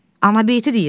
Anabeyti deyirəm.